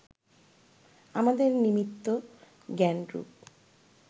আমাদের নিমিত্ত জ্ঞানরূপ